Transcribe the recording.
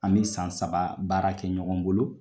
An bi san saba baara kɛ ɲɔgɔn bolo.